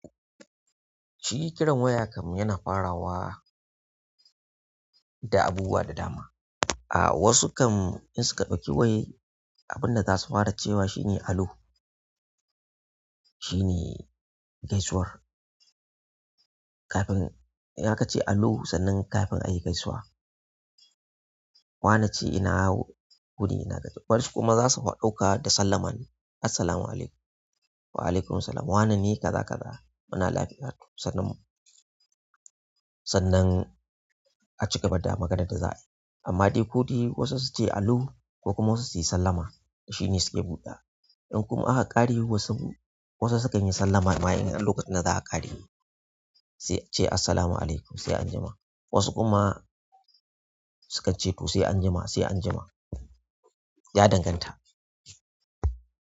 Shi kiran waya kamar yana farawa da abubuwa da dama. A wasu kam in suka ɗauki wayan abinda zasu fara cewa shine hello shine gaisuwar kafin, in akace allo sannan kafin a yi gaisuwa. Wani ce ina wuni ina gajiya, wasu kuma za su ɗauka da sallama ne. "Assalamu alaikum." "Waalaikumussalam." waneh neh kaza kaza muna lafiya sannan, sannan a cigaba da maganar da za a yi. Amma dai ko dai wasu su ce allo ko kuma wasu su yi sallama, shine suke buɗawa. In kuma aka ƙare wasu, wasu sukan yi sallama ma in lokacin da za a ƙare. Sai ce, "Assalamu alaikum sai an jima." Wasu kuma sukan ce, "Ku sai an jima, sai an jima." Ya danganta.